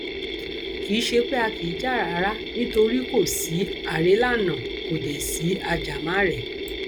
kì í ṣe pé a kì í jà rárá nítorí kò sí àrélànà kò dé sí ajàmàrèé